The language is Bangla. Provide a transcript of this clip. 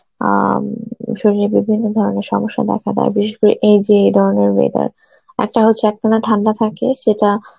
অ্যাঁ উম শরীরে বিভিন্ন ধরনের সমস্যা দেখা দেয় বিশেষ করে এই যে ধরনের weather. একটা হচ্ছে একখানে ঠান্ডা থাকে সেটা